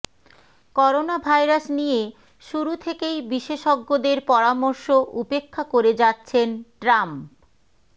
coronavirus নিয়ে শুরু থেকেই বিশেষজ্ঞদের পরামর্শ উপেক্ষা করে যাচ্ছেন ট্রাম্প